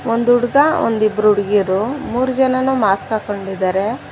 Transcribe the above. ಒಂದು ಹುಡುಗ ಒಂದಿಬ್ರು ಹುಡುಗೀರು ಮೂರ್ ಜನಾನು ಮಾಸ್ಕ್ ಹಾಕೊಂಡಿದ್ದಾರೆ.